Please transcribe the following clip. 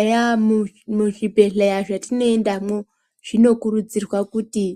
Eya muzvibhedhleya zvatinoendamwo zvinokurudzirwa kuti